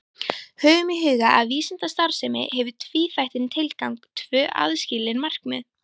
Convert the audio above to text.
Höfum í huga að vísindastarfsemi hefur tvíþættan tilgang, tvö aðskilin markmið.